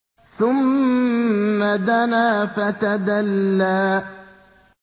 ثُمَّ دَنَا فَتَدَلَّىٰ